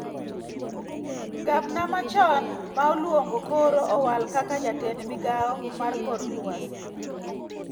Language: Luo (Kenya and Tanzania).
Gabna ma chon ma Olungo koro owal kaka jatend migao mar kor luasi